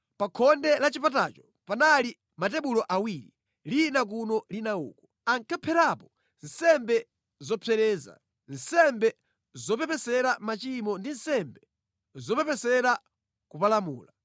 Pa khonde la chipatacho panali matebulo awiri, lina kuno lina uko. Ankapherapo nsembe zopsereza, nsembe zopepesera machimo ndi nsembe zopepesera kupalamula.